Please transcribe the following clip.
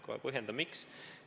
Kohe põhjendan, miks.